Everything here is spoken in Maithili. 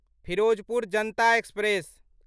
फिरोजपुर जनता एक्सप्रेस